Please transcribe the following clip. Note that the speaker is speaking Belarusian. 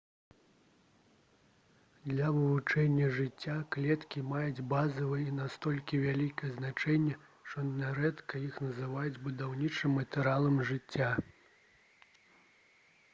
для вывучэння жыцця клеткі маюць базавае і настолькі вялікае значэнне што нярэдка іх называюць «будаўнічым матэрыялам жыцця»